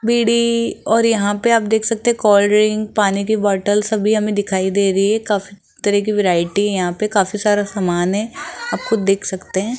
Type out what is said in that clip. बीड़ी और यहां पे आप देख सकते हैं कोल्ड ड्रिंक पानी की बॉटल सभी हमें दिखाई दे रही है काफी तरह की वैरायटी है यहां पे काफी सारा सामान है आप खुद देख सकते हैं।